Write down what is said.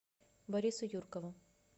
борису юркову